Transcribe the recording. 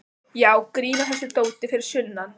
Já, grín að þessu dóti fyrir sunnan.